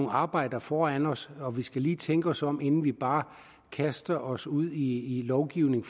arbejde foran os og vi skal lige tænke os om inden vi bare kaster os ud i lovgivning